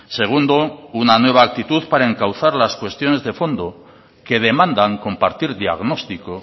segundo una nueva actitud para encauzar las cuestiones de fondo que demandan compartir diagnóstico